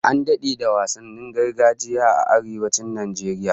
An dade da wasannin gargajiya a Arewacin Najeriya